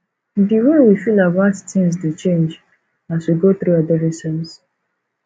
di way we feel about things dey change as we go through adolescence